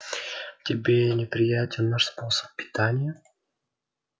тебе неприятен наш способ питания